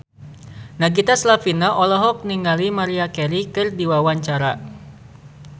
Nagita Slavina olohok ningali Maria Carey keur diwawancara